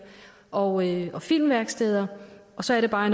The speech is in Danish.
og filmværksteder og så er det bare